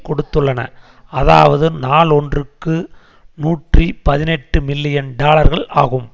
கொடுத்துள்ளன அதாவது நாள் ஒன்றிற்கு நூற்றி பதினெட்டு மில்லியன் டாலர்கள் ஆகும்